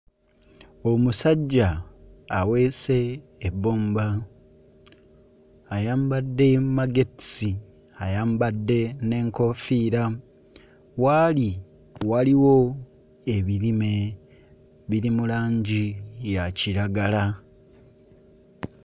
Omusajja aweese ebbomba, ayambadde magetisi, ayambadde n'enkofiira, waali waliwo ebirime biri mu langi ya kiragala.